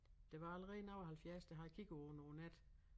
Der var allerede nogen og 70 der havde kigget på den over æ nat